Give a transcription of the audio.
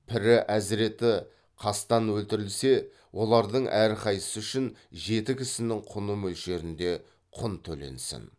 пірі әзіреті қастан өлтірілсе олардың әрқайсысы үшін жеті кісінің құны мөлшерінде құн төленсін